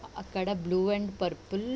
అక్కడ blue and purple .